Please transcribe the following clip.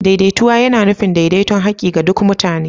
Daidaituwa yana nufin daidaiton haƙƙi ga duk mutane.